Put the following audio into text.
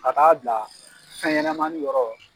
A k'a bila fɛnɲɛnamanin yɔrɔ